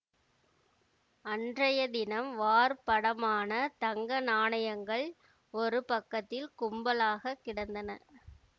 அன்றைய தினம் வார்ப்படமான தங்க நாணயங்கள் ஒரு பக்கத்தில் கும்பலாகக் கிடந்தன